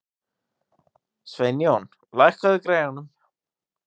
Sveinjón, lækkaðu í græjunum.